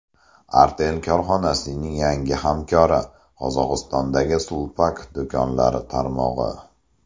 Artel korxonasining yangi hamkori - Qozog‘istondagi Sulpak do‘konlar tarmog‘i.